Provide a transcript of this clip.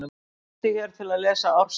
Smelltu hér til að lesa ársritið